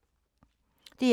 DR1